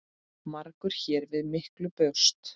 Margur hér við miklu bjóst.